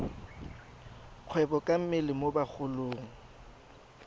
kgwebo ka mmele mo bagolong